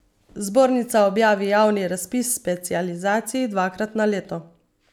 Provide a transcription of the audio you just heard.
Zbornica objavi javni razpis specializacij dvakrat na leto.